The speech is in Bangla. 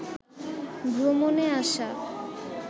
ভ্রমণে আসা